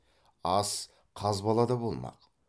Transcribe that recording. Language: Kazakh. ас қазбалада болмақ